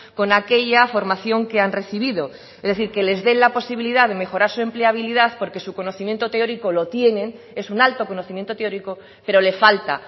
con aquella formación que han recibido es decir que les den la posibilidad de mejorar su empleabilidad porque su conocimiento teórico lo tienen es un alto conocimiento teórico pero le falta